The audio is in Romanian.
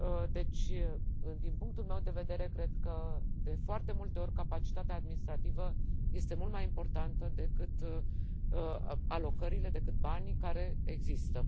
Deci, din punctul meu de vedere, cred că de foarte multe ori capacitatea administrativă este mult mai importantă decât alocările, decât banii, care există.